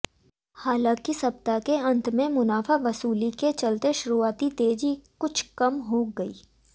हालांकि सप्ताह के अंत में मुनाफावसूली के चलते शुरूआती तेजी कुछ कम हो गई